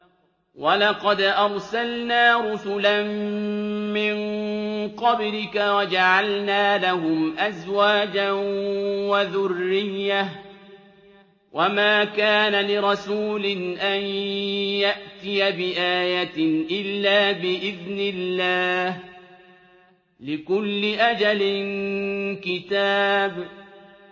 وَلَقَدْ أَرْسَلْنَا رُسُلًا مِّن قَبْلِكَ وَجَعَلْنَا لَهُمْ أَزْوَاجًا وَذُرِّيَّةً ۚ وَمَا كَانَ لِرَسُولٍ أَن يَأْتِيَ بِآيَةٍ إِلَّا بِإِذْنِ اللَّهِ ۗ لِكُلِّ أَجَلٍ كِتَابٌ